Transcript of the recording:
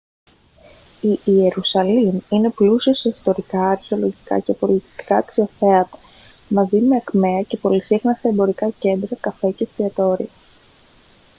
η ιερουσαλήμ είναι πλούσια σε ιστορικά αρχαιολογικά και πολιτιστικά αξιοθέατα μαζί με ακμαία και πολυσύχναστα εμπορικά κέντρα καφέ και εστιατόρια